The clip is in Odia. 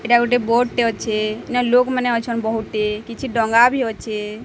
ଏଇଟା ଗୋଟେ ବୋଟ୍ ଟେ ଅଛି ଏନା ଲୋକ୍ ମାନେ ଅଛନ୍ ବୋହୁଟି କିଛି ଡଙ୍ଗା ବି ଅଛେ।